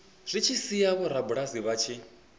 zwi tshi sia vhorabulasi vhanzhi